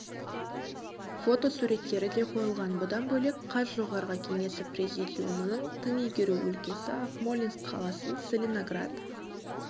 фотосуреттері де қойылған бұдан бөлек қаз жоғары кеңесі президиумының тың игеру өлкесі акмолинск қаласын целиноград